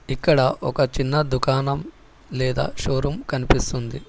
ఇక్కడ ఒక చిన్న దుకాణం లేదా షోరూం కనిపిస్తుంది.